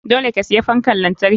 Dole ka siya fankan lantarki.